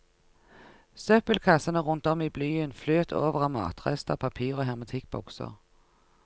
Søppelkassene rundt om i byen fløt over av matrester, papir og hermetikkbokser.